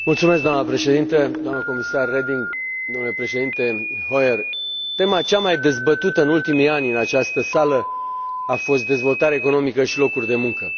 Doamnă președinte, doamnă comisar Reding, domnule președinte Hoyer, tema cea mai dezbătută în ultimii ani în această sală a fost dezvoltare economică și locuri de muncă.